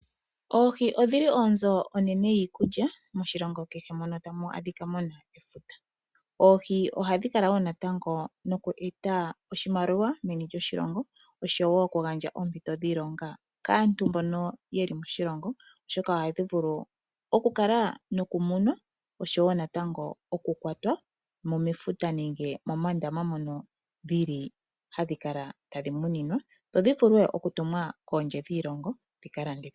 Oohi odhili onzo onene yiikulya moshilongo, kehe mono ta mu adhika muna. Oohi oha dhi kala woo natango noku eta oshimaliwa moshilongo, osho woo oku gandja oompito dhiilonga, kaantu mbono ye li moshilongo, no sho oha dhi vulu oku kala noku munwa no sho woo natango oku kwatwa mo mefuta nenge moondama mono dhi li ha dhi kala ta dhi muninwa, dho dhi vule oku tumwa kondje yiilongo dhi ka landithwe.